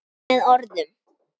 Með orðum.